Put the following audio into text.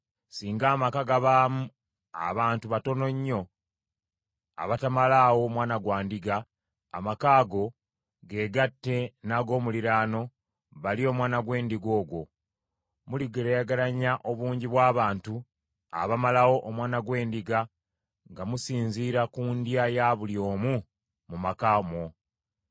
Singa amaka gabaamu abantu batono nnyo abatamalaawo mwana gwa ndiga, amaka ago geegatte n’ag’omuliraano balye omwana gw’endiga ogwo. Muligeraageranya obungi bw’abantu abamalawo omwana gw’endiga nga musinziira ku ndya ya buli omu mu maka omwo.